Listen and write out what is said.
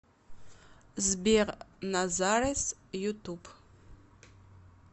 сбер назарес ютуб